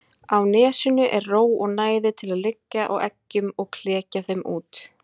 Á nesinu er ró og næði til að liggja á eggjum og klekja þeim út.